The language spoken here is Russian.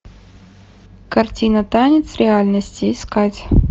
картина танец реальности искать